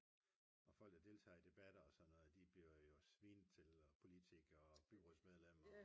og folk der deltager i debatter og sådan noget de bliver jo svinet til og politikere og byrådsmedlemmer